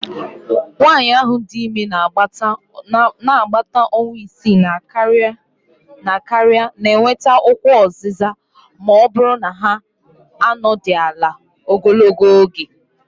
nwanyị dị ime n'agbata ọnwa isii na karịa na-enweta ụkwụ oziza ma ọ bụrụ na ha anọdụ ala ogologo oge